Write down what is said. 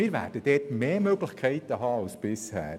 Wir werden mehr Möglichkeiten haben als bisher.